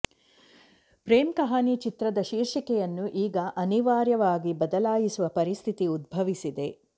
ಪ್ರೇಮ್ ಕಹಾನಿ ಚಿತ್ರದ ಶೀರ್ಷಿಕೆಯನ್ನು ಈಗ ಅನಿವಾರ್ಯವಾಗಿ ಬದಲಾಯಿಸುವ ಪರಿಸ್ಥಿತಿ ಉದ್ಭವಿಸಿದೆ